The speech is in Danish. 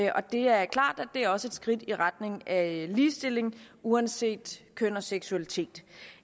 og det er klart at det også er et skridt i retning af ligestilling uanset køn og seksualitet